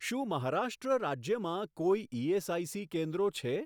શું મહારાષ્ટ્ર રાજ્યમાં કોઈ ઇએસઆઇસી કેન્દ્રો છે?